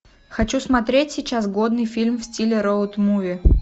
хочу смотреть сейчас годный фильм в стиле роуд муви